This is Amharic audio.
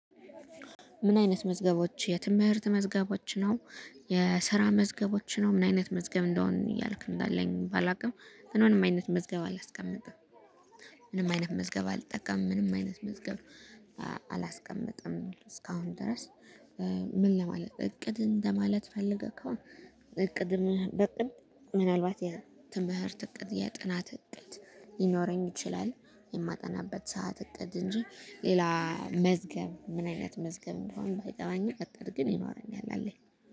ምን አይነት መዝገቦች የትምህርት መዝገቦች ነው? የስራ መዝገቦች ነው። ምን አይነት መዝገብ እንደሆን እያልክ እንዳለኝ ባላውቅም ግን ምንም አይነት መዝገብ አላስቀምጥም። ምንም አይነት መዝገብ አልጠቀምም ምንም አይነት መዝገብ አላስቀምጥም ነው እስካሁን ድረስ። ምን ለማለት እቅድ እንደማለት ፈልገህ ከሆነ? እቅድ በእቅድ ምናልባት የትምህርት እቅድ የጥናት እቅድ ይኖረኝ ይችላል። የማጠናበት ሰዓት እቅድ እንጂ ሌላ መዝገብ ምን አይነት መዝገብ እንደሆነ ባይገባኝም ደብተር ግን ይኖረኛል አለኝ።